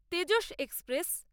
Tejas express